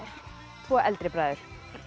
tvo eldri bræður